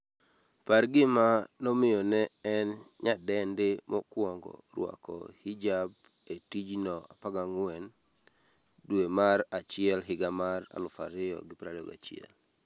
par gima nomiyo ne en nyadendi mokwongo rwako hijab e tijno14 dwe mar achiel higa mar 2021